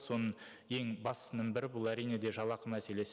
соның ең бастысының бірі бұл әрине де жалақы мәселесі